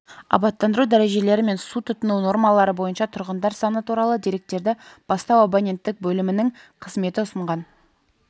абаттандыру дәрежелері мен су тұтыну нормалары бойынша тұрғындар саны туралы деректерді бастау абоненттік бөлімінің қызметі ұсынған